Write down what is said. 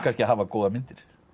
að hafa góðar myndir